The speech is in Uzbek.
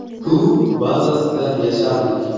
Klub bazasida yashardik.